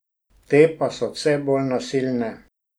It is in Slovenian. Te pa so vse bolj nasilne.